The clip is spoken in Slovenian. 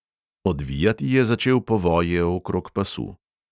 Odvijati je začel povoje okrog pasu.